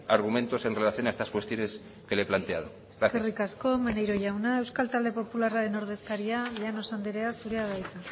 argumentos en relación a estas cuestiones que le he planteado gracias eskerrik asko maneiro jauna euskal talde popularraren ordezkaria llanos andrea zurea da hitza